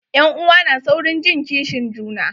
Ƴan'uwa na saurin jin kishin juna.